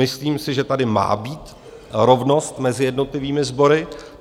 Myslím si, že tady má být rovnost mezi jednotlivými sbory.